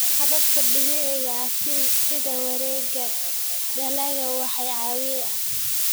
Hababka dabiiciga ah sida wareegga dalagga waxay caawiyaan.